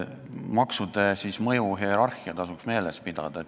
Maksude mõjuhierarhiat tasuks meeles pidada.